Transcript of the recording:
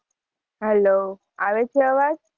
Hello આવે છે અવાજ?